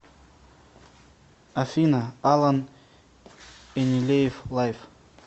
афина алан энилеев лайф